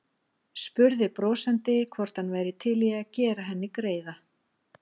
Spurði brosandi hvort hann væri til í að gera henni greiða.